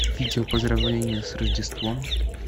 видео поздравление с рождеством